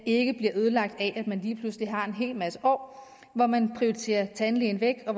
ikke bliver ødelagt af at man lige pludselig har en hel masse år hvor man prioriterer tandlægen væk og